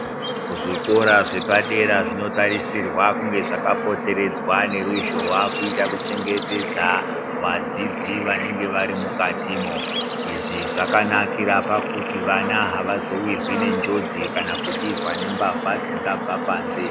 Zvikora zvepadera zvinotarisirwa kunge zvakapoteredzwa neruzhowa kuitira kuchengetedza vadzidzi vanenge varimukatimo. Izvi zvakanakira pakuti vana havazowirwi nenjodzi kana kubirwa nembavha dzinobva panze.